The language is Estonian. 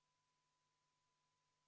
Palun võtta seisukoht ja hääletada!